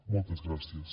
moltes gràcies